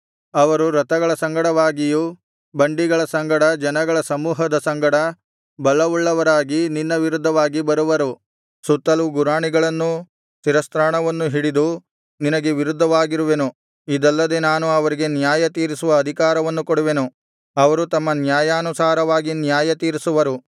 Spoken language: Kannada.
ಅವರು ರಥಗಳ ಸಂಗಡವಾಗಿಯೂ ಬಂಡಿಗಳ ಸಂಗಡ ಜನಗಳ ಸಮೂಹದ ಸಂಗಡ ಬಲವುಳ್ಳವರಾಗಿ ನಿನ್ನ ವಿರುದ್ಧವಾಗಿ ಬರುವರು ಸುತ್ತಲೂ ಗುರಾಣಿಗಳನ್ನೂ ಶಿರಸ್ತ್ರಾಣವನ್ನೂ ಹಿಡಿದು ನಿನಗೆ ವಿರುದ್ಧವಾಗಿರುವೆನು ಇದಲ್ಲದೆ ನಾನು ಅವರಿಗೆ ನ್ಯಾಯ ತೀರಿಸುವ ಅಧಿಕಾರವನ್ನು ಕೊಡುವೆನು ಅವರು ತಮ್ಮ ನ್ಯಾಯಾನುಸಾರವಾಗಿ ನ್ಯಾಯತೀರಿಸುವರು